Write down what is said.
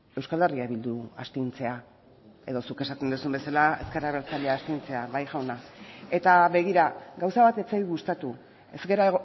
euskal herria bildu astintzea edo zuk esaten duzun bezala ezker abertzalea astintzea bai jauna eta begira gauza bat ez zait gustatu ez gara